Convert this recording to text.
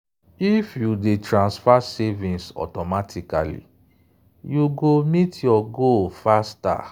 if you dey transfer savings automatically you you go meet your goal faster.